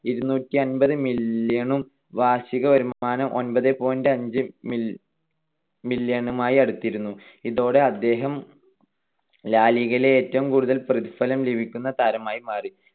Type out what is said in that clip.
ഇരുനൂറ്റിഅൻപത് million ഉം വാർഷികവരുമാനം ഒമ്പത് point അഞ്ച്‌ million നുമായി അടുത്തിരുന്നു. ഇതോടെ അദ്ദേഹം ലാ ലിഗയിലെ ഏറ്റവും കൂടുതൽ പ്രതിഫലം ലഭിക്കുന്ന താരമായി മാറി.